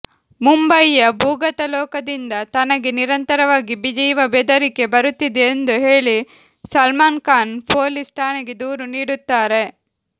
ಮುಂಬೈಯ ಭೂಗತಲೋಕದಿಂದ ತನಗೆ ನಿರಂತರವಾಗಿ ಜೀವಬೆದರಿಕೆ ಬರುತ್ತಿದೆ ಎಂದು ಹೇಳಿ ಸಲ್ಮಾನ್ಖಾನ್ ಪೊಲೀಸ್ ಠಾಣೆಗೆ ದೂರು ನೀಡುತ್ತಾರೆ